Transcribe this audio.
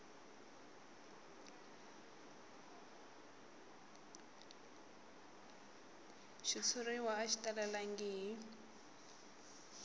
xitshuriwa a xi talelangi hi